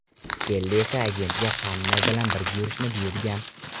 Kelli esa agentga hamma bilan birga yurishni buyurgan.